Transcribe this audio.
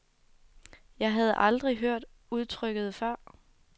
Jeg havde aldrig hørt udtrykket før.